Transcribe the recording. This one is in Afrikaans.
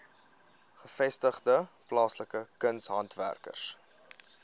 gevestigde plaaslike kunshandwerkers